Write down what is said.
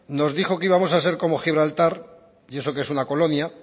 nos dijo que íbamos a ser como gibraltar y eso que es una colonia